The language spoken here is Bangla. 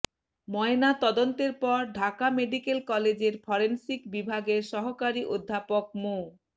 ময়নাতদন্তের পর ঢাকা মেডিকেল কলেজের ফরেনসিক বিভাগের সহকারী অধ্যাপক মো